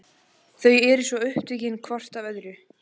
Þau eru svo upptekin hvort af öðru.